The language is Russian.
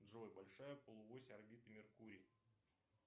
джой большая полуось орбиты меркурий